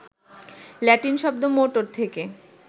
Latin শব্দ motor থেকে